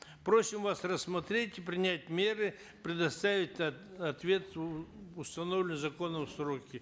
просим вас рассмотреть и принять меры предоставить ответ в установленные законом сроки